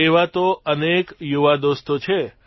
એવા તો અનેક યુવાદોસ્તો છે